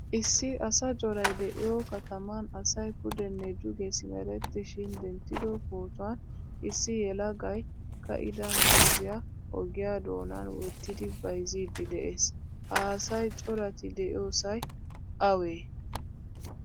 Issi asa coray deiyo katamanasay pudene duge simerettishin denttido pootuwan issi yelagay kaida muuzziyaa ogiya doonan wottidi bayzzidi de'ees. Ha asay corati deiyosay awe?